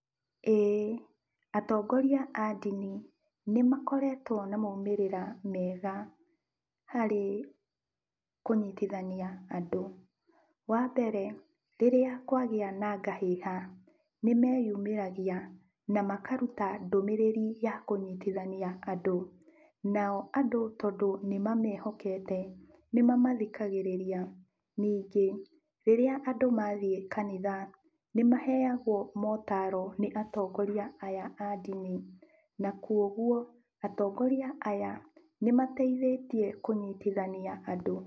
Ĩĩ, atongoria a andini nĩmakoretwo na maumĩrĩra mega harĩ kũnyitithania andũ. Wambere, rĩrĩa kwagĩa na ngahĩha, nĩmeyumĩragia na makaruta ndũmĩrĩri ya kũnyitithania andũ, nao andũ tondũ nĩmamehokete, nĩmamathikagĩrĩria. Ningĩ, rĩrĩa andũ mathiĩ kanitha, nĩmaheagwo motaro nĩ atongoria aya a ndini, na kuoguo atongoria aya nĩmateithĩtie kũnyitithania andũ.